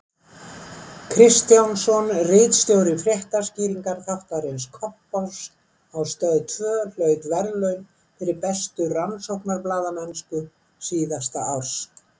Kristjánsson, ritstjóri fréttaskýringaþáttarins Kompáss á Stöð tvö hlaut verðlaunin fyrir bestu rannsóknarblaðamennsku síðasta árs.